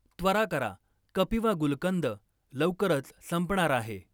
त्वरा करा, कपिवा गुलकंद लवकरच संपणार आहे.